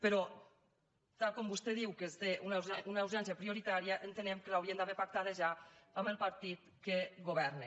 però tal com vostè diu que té una urgència prioritària entenem que l’haurien d’haver pactada ja amb el partit que governa